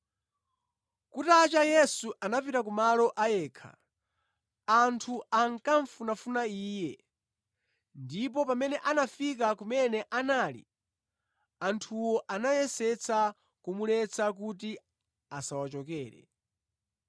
Kutacha, Yesu anapita ku malo a yekha. Anthu ankamufunafuna Iye ndipo pamene anafika kumene anali, anthuwo anayesetsa kumuletsa kuti asawachokere.